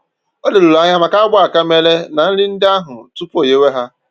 Ọ leruru anya maka agba aka mere na nri ndị ahụ tupu o nyèwe ha